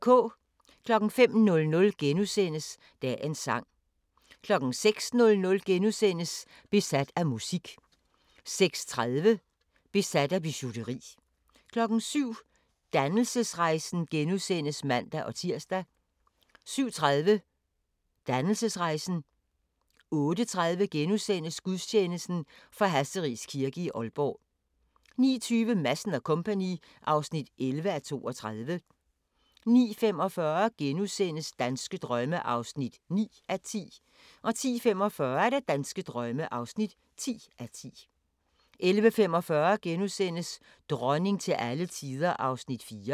05:00: Dagens sang * 06:00: Besat af musik * 06:30: Besat af bijouteri 07:00: Dannelsesrejsen *(man-tir) 07:30: Dannelsesrejsen 08:30: Gudstjeneste fra Hasseris Kirke, Aalborg * 09:20: Madsen & Co. (11:32) 09:45: Danske drømme (9:10)* 10:45: Danske drømme (10:10) 11:45: Dronning til alle tider (4:6)*